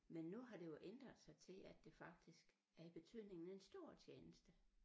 Men nu har det jo ændret sig til at det faktisk er i betydningen en stor tjeneste